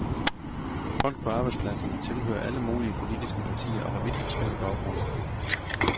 Folk på arbejdspladserne tilhører alle mulige politiske partier og har vidt forskellig baggrund.